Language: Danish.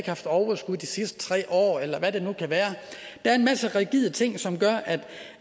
haft overskud de sidste tre år eller hvad det nu kan være der er en masse rigide ting som gør